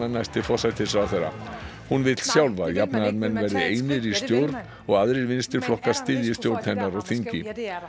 næsti forsætisráðherra hún vill sjálf að jafnaðarmenn verði einir í stjórn og aðrir styðji stjórn hennar á þingi